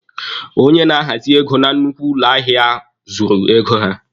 Onye na-ahazị ego na nnukwu ụlọ ahịa ahụ zụrụ ego ya.